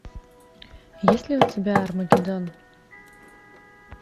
есть ли у тебя армагеддон